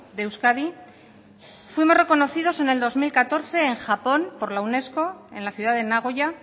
de euskadi fuimos reconocidos en el dos mil catorce en japón por la unesco en la ciudad de nagoya